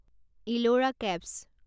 Ellora caves